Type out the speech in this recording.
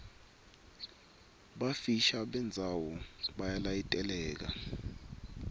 bufisha bendzawo buyalayiteleka